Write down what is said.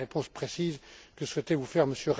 Voilà la réponse précise que souhaitait vous faire M.